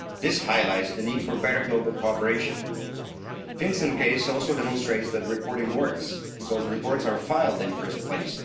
This highlights the need for better global cooperation. The FinCEN case also demonstrates that reporting works, because reports are filed in the first place.